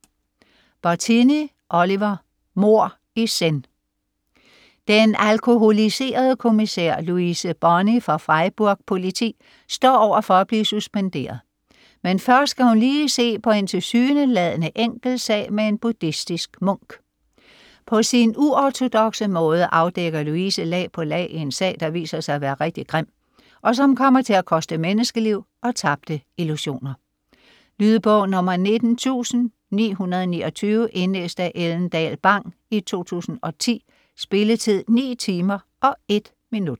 Bottini, Oliver: Mord i zen Den alkoholiserede kommissær Louise Boni fra Freiburg Politi står over for at blive suspenderet, men først skal hun lige se på en tilsyneladende enkel sag med en buddhistisk munk. På sin uortodokse måde afdækker Louise lag på lag i en sag, der viser sig at være rigtig grim, og som kommer til at koste menneskeliv og tabte illusioner. Lydbog 19929 Indlæst af Ellen Dahl Bang, 2010. Spilletid: 9 timer, 1 minutter.